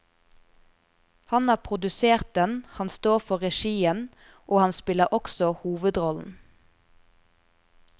Han har produsert den, han står for regien, og han spiller også hovedrollen.